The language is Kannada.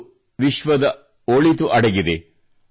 ಇದರಲ್ಲೇ ನಮ್ಮ ಮತ್ತು ವಿಶ್ವದ ಒಳಿತು ಅಡಗಿದೆ